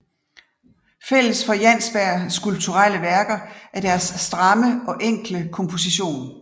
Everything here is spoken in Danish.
Fælles for Jansbergs skuplturelle værker er deres stramme og enkle komposition